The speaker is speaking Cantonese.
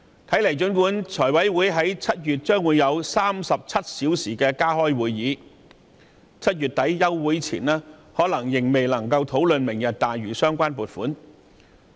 雖然財委會將於7月加開37小時會議，但在7月底暑期休會前，財委會可能仍然未能討論"明日大嶼"的相關撥款項目。